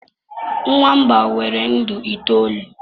nwamba nwere ndụ itoolu